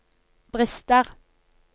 brister